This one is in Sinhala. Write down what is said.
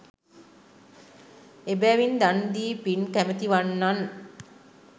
එබැවින් දන් දී පින් කැමැති වන්නන්